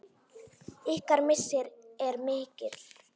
Ykkar missir er mikil.